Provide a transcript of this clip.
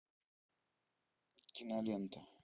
кинолента